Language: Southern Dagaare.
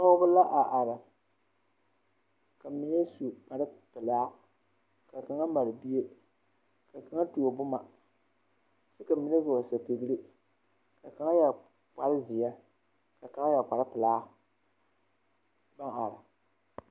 Pɔɡeba la a are ka mine su kparpelaa ka kaŋa mare bie ka kaŋa tuo boma kyɛ ka mine vɔɔli sapiɡri ka kaŋa yɛ kparzeɛ ka kaŋa yɛre kparpelaa pãã are.